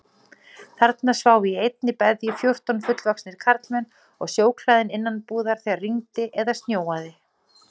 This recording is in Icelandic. Þarna sváfu í einni beðju fjórtán fullvaxnir karlmenn og sjóklæðin innanbúðar þegar rigndi eða snjóaði.